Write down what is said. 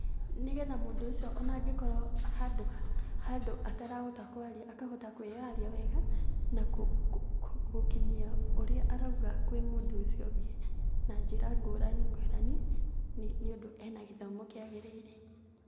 Nĩ getha mũndũ ũcio o na angĩkorwo handũ atarahota kũaria akahota kwĩyaria wega na gũkinyia ũrĩa arauga kwĩ mũndũ ũcio ũngĩ na njĩra ngũrani ngũrani nĩ ũndũ e na gĩthomo kĩagĩrĩire.